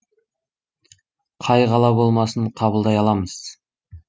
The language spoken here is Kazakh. қай қала болмасын қабылдай аламыз